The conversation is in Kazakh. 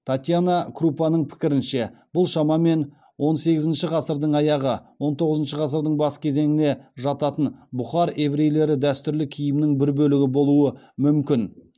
татьяна крупаның пікірінше бұл шамамен он сегізінші ғасырдың аяғы он тоғызыншы ғасырдың бас кезеңіне жататын бұхар еврейлері дәстүрлі киімінің бір бөлігі болуы мүмкін